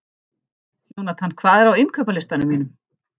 Jónatan, hvað er á innkaupalistanum mínum?